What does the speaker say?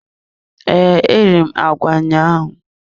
Ee, eriri m agwa ahụ ụnyaahụ.